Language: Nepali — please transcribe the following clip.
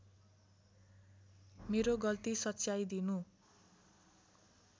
मेरो गल्ती सच्याइदिनु